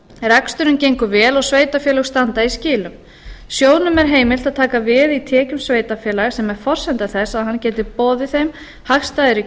reksturinn gengur vel og sveitarfélög standa í skilum sjóðnum er heimilt að taka veð í tekjum sveitarfélaga sem er forsenda þess að hann geti boðið þeim hagstæðari kjör